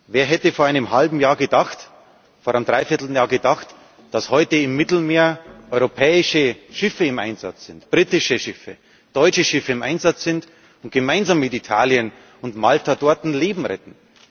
Wer hätte vor einem halben Jahr, vor einem Dreivierteljahr gedacht, dass heute im Mittelmeer europäische Schiffe britische Schiffe, deutsche Schiffe im Einsatz sind und gemeinsam mit Italien und Malta dort Leben retten?